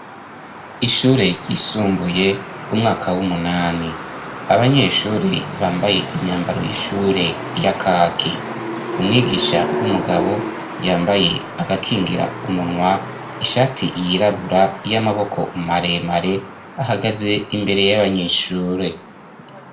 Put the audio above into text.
Ishure ryisumbuye umwaka w'umunani, abanyeshure bambaye imyambaro y'ishure ya kaki. Umwigisha w'umugabo yambaye agakingira umunwa, ishati yirabura y'amaboko maremare ahagaze imbere y'abanyeshure.